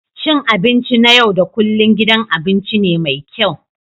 Cin abinci na yau da kullun gidan abinci ne mai kyau